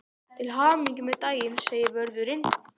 Til hamingju með daginn segir vörðurinn.